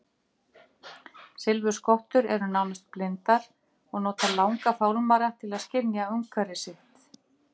Silfurskottur eru nánast blindar og nota langa fálmara til að skynja umhverfi sitt.